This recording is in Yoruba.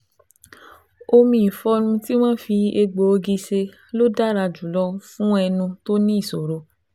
Omi ìfọnu tí wọ́n fi egbòogi ṣe ló dára jùlọ fún ẹnu tó ní ìṣoro